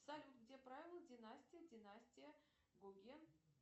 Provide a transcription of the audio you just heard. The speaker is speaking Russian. салют где правила династия династия гоген